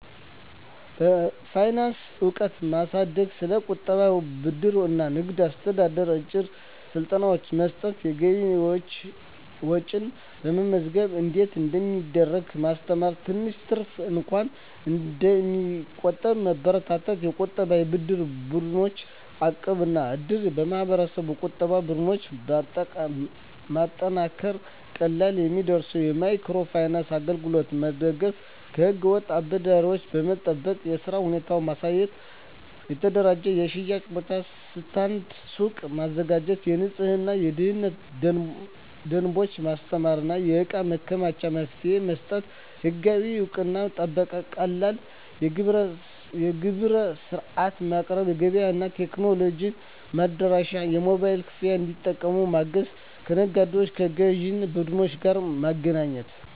የፋይናንስ እውቀት ማሳደግ ስለ ቁጠባ፣ ብድር እና ንግድ አስተዳደር አጭር ስልጠናዎች መስጠት የገቢና ወጪ መመዝገብ እንዴት እንደሚደረግ ማስተማር ትንሽ ትርፍ እንኳን እንዲቆጠብ መበረታታት የቁጠባና የብድር ቡድኖች (እቃብ/እድር ) የማህበረሰብ ቁጠባ ቡድኖች ማጠናከር ቀላል የሚደርሱ የማይክሮ ፋይናንስ አገልግሎቶች መደገፍ ከህገ-ወጥ እጅ አበዳሪዎች መጠበቅ የሥራ ሁኔታ ማሻሻል የተደራጀ የሽያጭ ቦታ (ስታንድ/ሱቅ) ማዘጋጀት የንፅህናና የደህንነት ደንቦች ማስተማር የእቃ ማከማቻ መፍትሄዎች መስጠት ህጋዊ እውቅናና ጥበቃ ቀላል የንግድ ምዝገባ ሂደት መፍጠር ቀላል የግብር ሥርዓት ማቅረብ ገበያ እና ቴክኖሎጂ መድረሻ የሞባይል ክፍያ እንዲጠቀሙ ማገዝ ከነጋዴዎችና ከግዥ ቡድኖች ጋር ማገናኘት